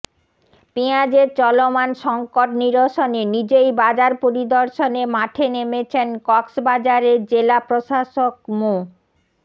পেঁয়াজের চলমান সংকট নিরসনে নিজেই বাজার পরিদর্শনে মাঠে নেমেছেন কক্সবাজারের জেলা প্রশাসক মো